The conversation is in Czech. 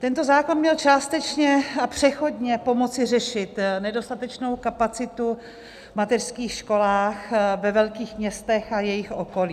Tento zákon měl částečně a přechodně pomoci řešit nedostatečnou kapacitu v mateřských školách ve velkých městech a jejich okolí.